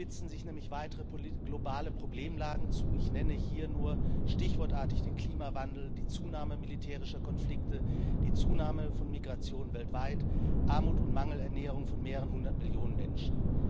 Gleichzeitig spitzen sich nämlich weitere globale Problemlagen zu. Ich nenne hier nur stichwortartig den Klimawandel, die Zunahme militärischer Konflikte, die Zunahme von Migration weltweit, Armut und Mangelernährung von mehreren hundert Millionen Menschen.